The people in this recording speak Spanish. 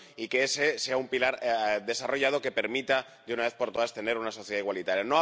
y que ese sea un pilar desarrollado que permita, de una vez por todas, tener una sociedad igualitaria.